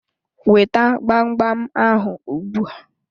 Weta gbam gbam ahụ ugbu a!